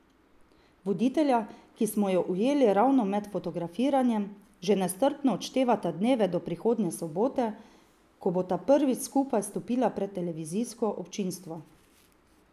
Voditelja, ki smo ju ujeli ravno med fotografiranjem, že nestrpno odštevata dneve do prihodnje sobote, ko bosta prvič skupaj stopila pred televizijsko občinstvo.